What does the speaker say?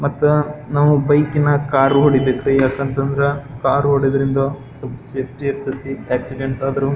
ಮತ್ತ ನಾವು ಬೈಕ್ಕಿನ ಕಾರ್ ಹೊಡಿಬೇಕ್ರಿ ಯಾಕಅಂತಂದ್ರ ಕಾರ್ ಹೊಡೆಯುವುದರಿಂದ ಸ್ವಲ್ಪ್ ಸೇಫ್ಟಿ ಇರ್ತತಿ ಆಕ್ಸಿಡೆಂಟ್ ಆದ್ರೂ --